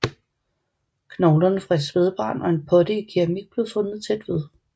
Knoglerne fra et spædbarn og en potte i keramik blev fundet tæt ved